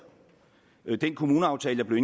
med